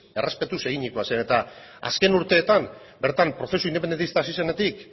errespetuz eginikoa zeren eta azken urteetan bertan prozesu independentista hasi zenetik